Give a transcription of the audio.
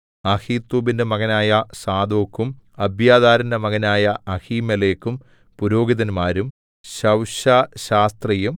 അഹീത്തൂബിന്റെ മകനായ സാദോക്കും അബ്യാഥാരിന്റെ മകനായ അഹീമേലെക്കും പുരോഹിതന്മാരും ശവ്ശാ ശാസ്ത്രിയും